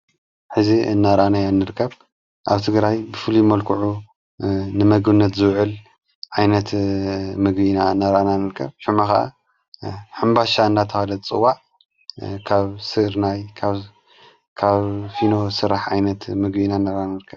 ሕዚ እናራኣና ያንርከብ ኣብቲ ግራይ ብፍሉ መልክዑ ንመግነት ዘውዕል ኣይነት ምጕይና ነራኣእናንርቀብ ሸምኻ ሓምባሻ እናትሃለት ጽዋዕ ካብ ሥርናይ ካካብ ፊኖ ሥራሕ ኣይነት ምግቢ ንረክብ።